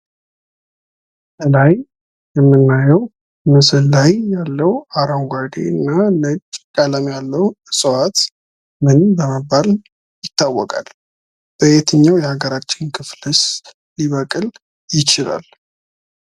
ከላይ ከምናየው ምስል ላይ ያለው አረንጓዴና ነጭ ቀለም ያለው እፅዋት ምን በመባል ይታወቃል? በየትኛው የሀገራችን ክፍልስ ሊበቅል ይችላል?